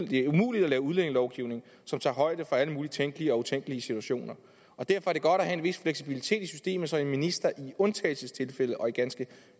det er umuligt at lave udlændingelovgivning som tager højde for alle mulige tænkelige og utænkelige situationer og derfor er det godt at have en vis fleksibilitet i systemet så en minister i undtagelsestilfælde og i ganske